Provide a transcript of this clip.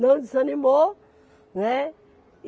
Não desanimou, né.